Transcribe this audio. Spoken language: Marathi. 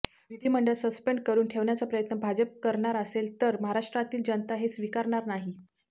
विधिमंडळ सस्पेंड करून ठेवण्याचा प्रयत्न भाजप करणार असेल तर महाराष्ट्रातील जनता ते स्वीकारणार नाही